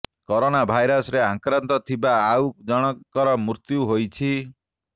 corona virus ରେ ଆକ୍ରାନ୍ତ ଥିବା ଆଉ ଜଣଙ୍କର ମୃତ୍ୟୁ ହୋଇଛି